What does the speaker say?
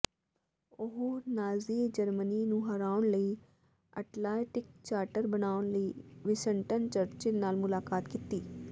ਉਹ Nazi Germany ਨੂੰ ਹਰਾਉਣ ਲਈ ਅਟਲਾਂਟਿਕ ਚਾਰਟਰ ਬਣਾਉਣ ਲਈ ਵਿੰਸਟਨ ਚਰਚਿਲ ਨਾਲ ਮੁਲਾਕਾਤ ਕੀਤੀ